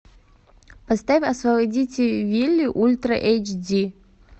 поставь освободите вилли ультра эйч ди